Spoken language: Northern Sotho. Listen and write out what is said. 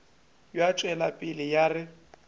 ya tšwela pele ya re